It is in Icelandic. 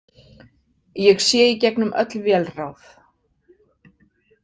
Ég sé í gegnum öll vélráð.